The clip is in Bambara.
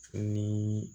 Ni